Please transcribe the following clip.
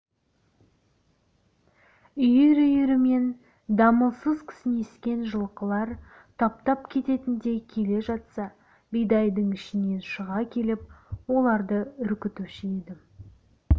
үйір-үйірімен дамылсыз кісінескен жылқылар таптап кететіндей келе жатса бидайдың ішінен шыға келіп оларды үркітуші едім